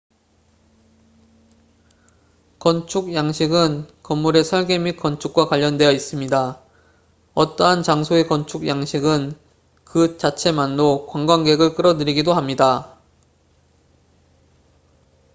건축 양식은 건물의 설계 및 건축과 관련되어 있습니다 어떠한 장소의 건축 양식은 그 자체만로 관광객을 끌어들이기도 합니다